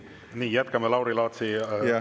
Nii, jätkame Lauri Laatsi aja küsimisega.